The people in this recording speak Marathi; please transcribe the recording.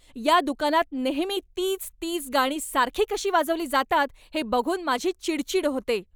या दुकानात नेहेमी तीच तीच गाणी सारखी कशी वाजवली जातात हे बघून माझी चिडचीड होते.